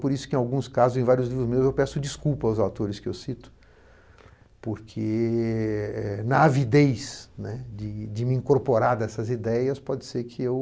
Por isso que, em alguns casos em vários livros meus, eu peço desculpas aos autores que eu cito, porque, na avidez, né, de de me incorporar dessas ideias, pode ser que eu...